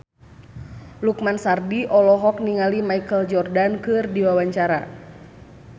Lukman Sardi olohok ningali Michael Jordan keur diwawancara